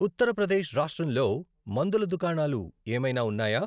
ఉత్తర ప్రదేశ్ రాష్ట్రంలో మందుల దుకాణాలు ఏమైనా ఉన్నాయా??